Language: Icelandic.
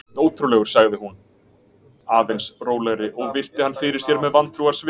Þú ert ótrúlegur- sagði hún aðeins rólegri og virti hann fyrir sér með vantrúarsvip.